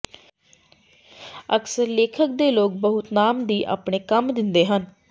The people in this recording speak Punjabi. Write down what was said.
ਅਕਸਰ ਲੇਖਕ ਦੇ ਲੋਕ ਬਹੁਤ ਨਾਮ ਦੀ ਆਪਣੇ ਕੰਮ ਦਿੰਦੇ ਹਨ